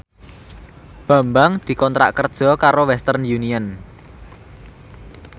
Bambang dikontrak kerja karo Western Union